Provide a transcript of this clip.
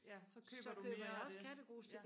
ja så køber du mere af det